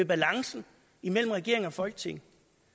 balancen imellem regeringen og folketinget